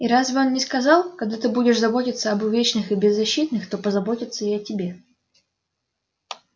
и разве он не сказал когда ты будешь заботиться об увечных и беззащитных то позаботятся и о тебе